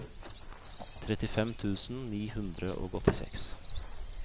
trettifem tusen ni hundre og åttiseks